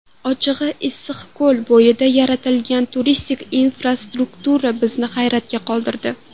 Ochig‘i, Issiqko‘l bo‘yida yaratilgan turistik infrastruktura bizni hayratda qoldirdi.